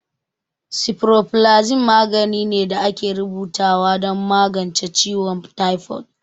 Sifuroflazicin magani ne da ake rubuta wa don magance ciwon taifod